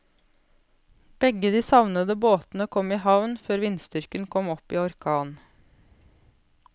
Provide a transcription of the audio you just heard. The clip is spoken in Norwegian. Begge de savnede båtene kom i havn før vindstyrken kom opp i orkan.